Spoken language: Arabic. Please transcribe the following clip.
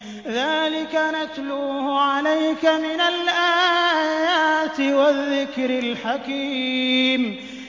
ذَٰلِكَ نَتْلُوهُ عَلَيْكَ مِنَ الْآيَاتِ وَالذِّكْرِ الْحَكِيمِ